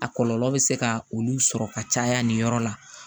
A kɔlɔlɔ bɛ se ka olu sɔrɔ ka caya nin yɔrɔ la